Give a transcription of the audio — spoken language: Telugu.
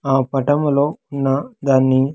ఆ పటములో ఉన్న దాన్ని.